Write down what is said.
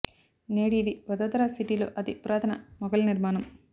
నేడు ఇది వదోదర సిటీ లో అతి పురాతన మొఘల్ నిర్మాణం